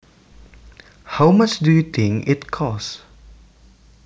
How much do you think it costs